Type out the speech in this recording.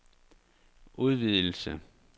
udvidelse